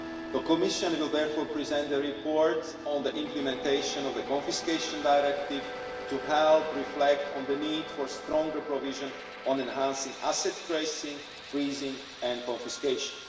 The Commission will therefore present a report on the implementation of the Confiscation Directive to help reflect on the need for stronger provision on enhancing asset tracing, freezing and confiscation.